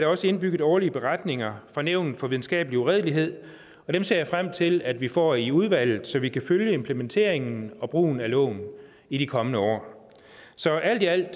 også indbygget årlige beretninger fra nævnet for videnskabelig uredelighed og dem ser jeg frem til at vi får i udvalget så vi kan følge implementeringen og brugen af loven i de kommende år så alt i alt er